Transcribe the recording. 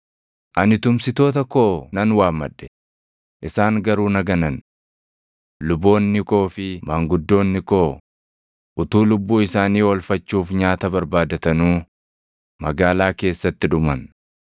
“Ani tumsitoota koo nan waammadhe; isaan garuu na ganan. Luboonni koo fi maanguddoonni koo utuu lubbuu isaanii oolfachuuf nyaata barbaadatanuu magaalaa keessatti dhuman.